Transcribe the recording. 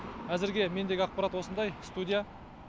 әзірге мендегі ақпарат осындай студия